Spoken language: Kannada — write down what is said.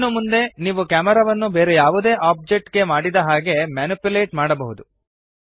ಇನ್ನು ಮುಂದೆ ನೀವು ಕ್ಯಾಮೆರಾವನ್ನು ಬೇರೆ ಯಾವುದೇ ಒಬ್ಜೆಕ್ಟ್ ಗೆ ಮಾಡಿದ ಹಾಗೆ ಮ್ಯಾನಿಪ್ಯುಲೇಟ್ ಮಾಡಬಹುದು